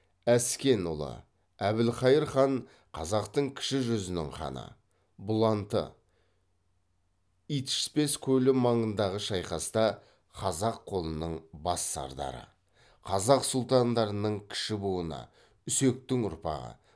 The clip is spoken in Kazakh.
әскен ұлы әбілқайыр хан қазақтың кіші жүзінің ханы бұланты итішпес көлі маңындағы шайқаста қазақ қолының бас сардары қазақ сұлтандарының кіші буыны үсектің ұрпағы